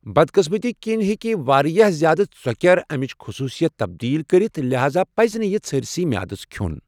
بدقٕسمتی کِنۍ، ہیٚکہ واریاہ زیادٕ ژۄکیر امِچ خصوٗصیت تبدیل کٔرِتھ، لہذا پزِ نہٕ یہِ ژھٔرسٕے میادس کھیوٚن۔